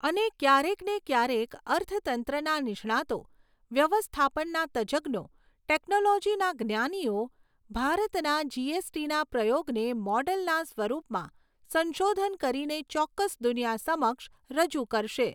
અને ક્યારેક ને ક્યારેક અર્થતંત્રના નિષ્ણાતો, વ્યવસ્થાપનના તજજ્ઞો, ટેક્નોલોજીના જ્ઞાનીઓ, ભારતના જીએસટીના પ્રયોગને મોડેલના સ્વરૂપમાં સંશોધન કરીને ચોક્કસ દુનિયા સમક્ષ રજૂ કરશે.